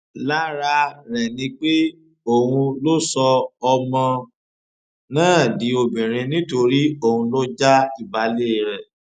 lára rẹ ni pé òun ló sọ ọmọ náà di obìnrin nítorí òun ló já ìbàlẹ rẹ